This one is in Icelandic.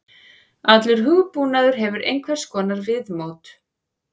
Allur hugbúnaður hefur einhvers konar viðmót.